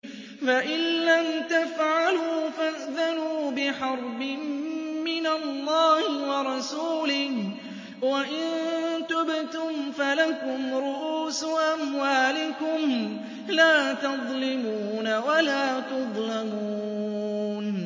فَإِن لَّمْ تَفْعَلُوا فَأْذَنُوا بِحَرْبٍ مِّنَ اللَّهِ وَرَسُولِهِ ۖ وَإِن تُبْتُمْ فَلَكُمْ رُءُوسُ أَمْوَالِكُمْ لَا تَظْلِمُونَ وَلَا تُظْلَمُونَ